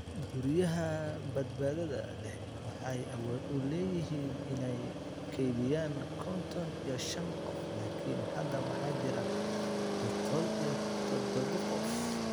Guryaha badbaadada leh waxay awood u leeyihiin inay kaydiyaan konton iyo shaan qof laakiin hadda waxaa jira biqool iyo todoba qof.